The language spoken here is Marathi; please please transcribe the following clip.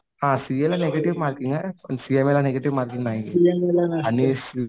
हां सीएला निगेटिव्ह मार्किंग आहे पण सीएमए ला निगेटिव्ह मार्किंग नाहीये आणि